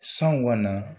San kɔni